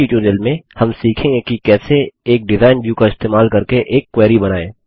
इस ट्यूटोरियल में हम सीखेंगे कि कैसे एक डिज़ाइन व्यू का इस्तेमाल करके एक क्वेरी बनाएँ